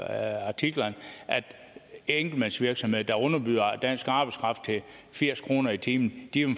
af artiklerne at enkeltmandsvirksomheder der underbyder dansk arbejdskraft til firs kroner i timen